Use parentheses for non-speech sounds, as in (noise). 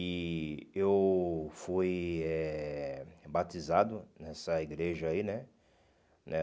E eu fui eh batizado nessa igreja aí, né? (unintelligible)